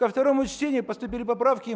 ко второму чтению поступили поправки и